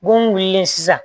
Mun wulilen sisan